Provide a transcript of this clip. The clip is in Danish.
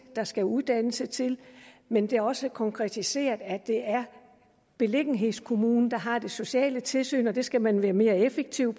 der skal uddannelse til men det er også blevet konkretiseret at det er beliggenhedskommunen der har det sociale tilsyn og der skal man være mere effektiv